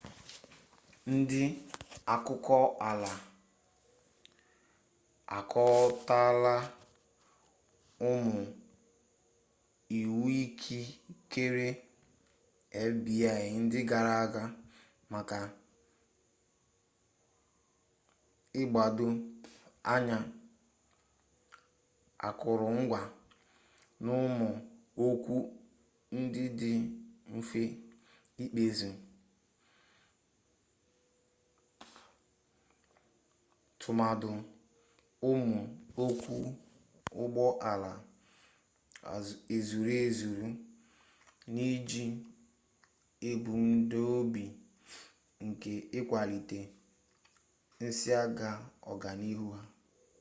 ndị akụkọala akọtọla ụmụ iwuikikere fbi ndị gara aga maka ịgbado anya akụrụngwa n'ụmụ okwu ndị dị mfe ikpezi tụmadị ụmụ okwu ụgbọ ala ezuru ezuru n'iji ebumnobi nke ịkwalite nsiaga ọganihu ha